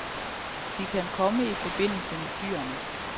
De kan komme i forbindelse med dyrene.